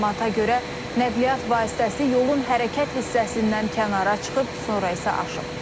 Məlumata görə, nəqliyyat vasitəsi yolun hərəkət hissəsindən kənara çıxıb, sonra isə aşıb.